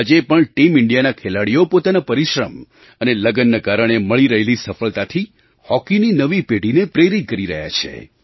આજે પણ ટીમ ઇન્ડિયાના ખેલાડીઓ પોતાના પરિશ્રમ અને લગનના કારણે મળી રહેલી સફળતાથી હૉકીની નવી પેઢીને પ્રેરિત કરી રહ્યા છે